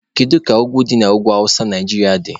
Kedu ka ugwu ndị dị n'ugwu awụsa Naijiria dị?